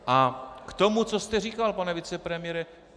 A k tomu, co jste říkal, pane vicepremiére.